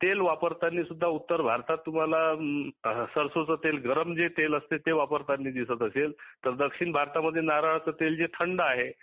तेल वापरताना सुध्दा उत्तर भारतात सरसो तेल गरम तेल वापरताना दिसत असेल दक्षिण भारतात मध्ये नाराळाचे तेल जे थंड आहे